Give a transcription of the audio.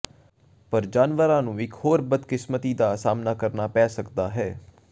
ਪਰ ਜਾਨਵਰਾਂ ਨੂੰ ਇਕ ਹੋਰ ਬਦਕਿਸਮਤੀ ਦਾ ਸਾਹਮਣਾ ਕਰਨਾ ਪੈ ਸਕਦਾ ਹੈ